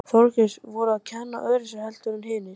Þorgils: Voru þau að kenna öðruvísi heldur en hinir kennararnir?